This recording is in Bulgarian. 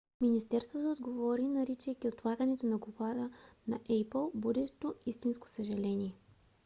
министерството отговори наричайки отлагането на доклада на apple будещо истинско съжаление.